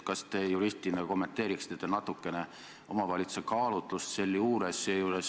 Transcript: Kas te juristina kommenteeriksite natuke omavalitsuse kaalutlust sealjuures?